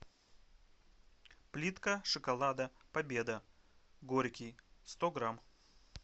плитка шоколада победа горький сто грамм